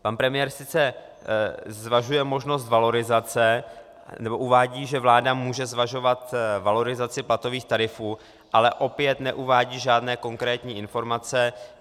Pan premiér sice zvažuje možnost valorizace, nebo uvádí, že vláda může zvažovat valorizaci platových tarifů, ale opět neuvádí žádné konkrétní informace.